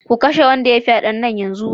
Ku kashe wanda ya yi fyaden nan take